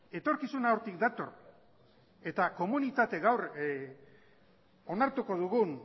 etorkizuna hortik dator eta komunitate gaur onartuko dugun